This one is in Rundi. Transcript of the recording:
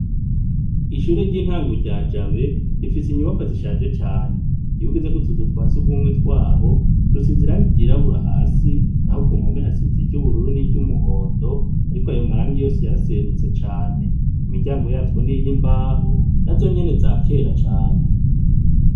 Ishure ry'intango rya Jabe rifise inyubakwa zishaje cane . Iyo ugeze ku tuzu twa sugumwe twaho dusize irangi ryirabura hasi naho ku mpome hasize iry' ubururu n'iry'umuhondo ariko ayo marangi yose yaraserutse cane . Imiryango yatwo ni iy'imbaho naho nyene za kera cane .